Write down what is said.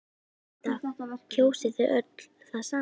Linda: Kjósið þið öll það sama?